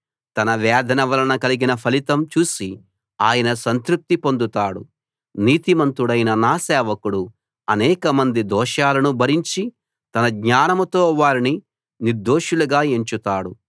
తన వేదన వలన కలిగిన ఫలితం చూసి ఆయన సంతృప్తి పొందుతాడు నీతిమంతుడైన నా సేవకుడు అనేకమంది దోషాలను భరించి తన జ్ఞానంతో వారిని నిర్దోషులుగా ఎంచుతాడు